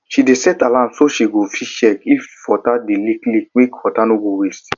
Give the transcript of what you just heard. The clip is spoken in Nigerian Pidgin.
she dey set alarm so she go fit check if water dey leak leak make water no go waste